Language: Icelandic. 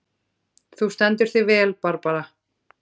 Þú stendur þig vel, Barbara!